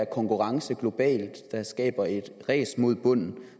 konkurrence globalt der skaber et ræs mod bunden